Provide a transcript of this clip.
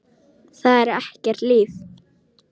Það er ekkert líf.